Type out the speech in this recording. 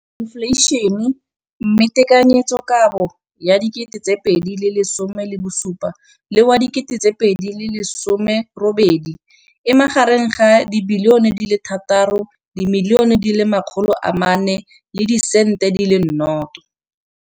Infleišene, mme tekanyetsokabo ya 2017, 18, e magareng ga R6.4 bilione.